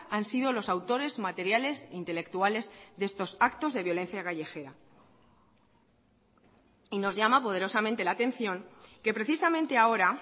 han sido los autores materiales intelectuales de estos actos de violencia callejera y nos llama poderosamente la atención que precisamente ahora